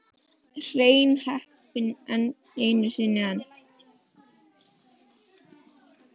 Hrein heppni einu sinni enn.